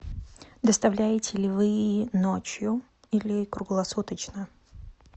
доставляете ли вы ночью или круглосуточно